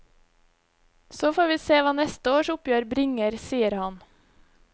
Så får vi se hva neste års oppgjør bringer, sier han.